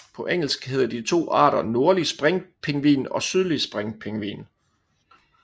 På engelsk hedder de to arter nordlig springpingvin og sydlig springpingvin